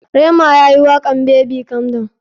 Rema yayi wakan [baby calm down].